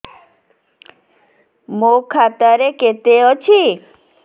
ମୋ ଖାତା ରେ କେତେ ଅଛି